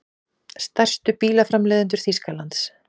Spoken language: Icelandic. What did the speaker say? Stærstu bílaframleiðendur Þýskalands.